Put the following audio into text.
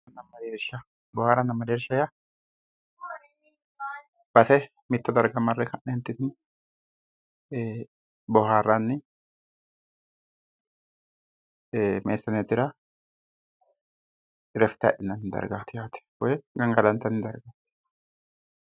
Booharanna mereersha yaa, mitto darga marre ka'nenitinni booharanni biifino dargira woyi irafite adhinanni baseti yaate.